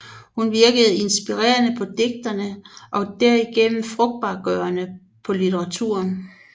Hun virkede inspirerende på digterne og derigennem frugtbargørende på litteraturen